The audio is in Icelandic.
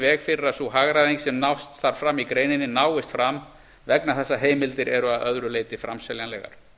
veg fyrir að sú hagræðing sem nást þarf fram í greininni náist fram vegna þess að heimildir eru að öðru leyti framseljanlegar